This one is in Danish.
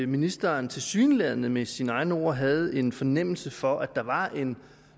ministeren tilsyneladende med sine egne ord havde en fornemmelse for at der var en